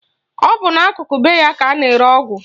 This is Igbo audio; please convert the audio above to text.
Ọ bụ n'akụkụ be ya ka a na-ere ọgwụ